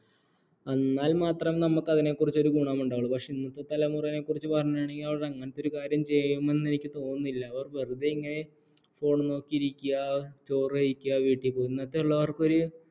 അന്നാൽ മാത്രേ നമുക്ക് അതിനെകുറിച്ച് ഒരു ഗുണമുണ്ടാകൂ പക്ഷേ ഇന്നത്തെ തലമുറയെക്കുറിച്ചു പറയേണെങ്കിൽ അവർ അങ്ങനത്തെ കാര്യം ചെയ്യുമെന്നു എനിക്ക് തോന്നുന്നില്ല അവർ വെറുതെ ഇങ്ങനെ phone നോക്കിയിരിക്കുക ചോറുകഴിക്കുക വീട്ടിപോവാ ഇന്നത്തെള്ളോർക്കൊരു